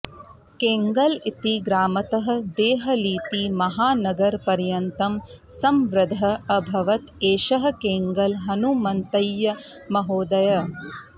केङ्गल् इति ग्रामतः देहलीति महानगरपर्यन्तं संवृद्धः अभवत् एषः केङ्गल् हनुमन्तय्य महोदयः